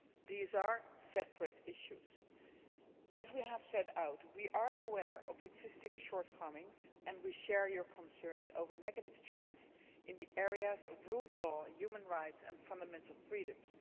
These are separate issues. As we have set out, we are aware of existing shortcomings and we share your concerns about negative trends in the areas of rule of law, human rights and fundamental freedoms.